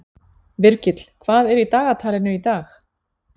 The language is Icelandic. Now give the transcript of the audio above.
Virgill, hvað er í dagatalinu í dag?